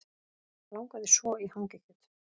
Langaði svo í hangikjöt